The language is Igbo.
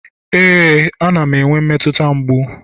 ee, a na m enwe mmetụta mgbu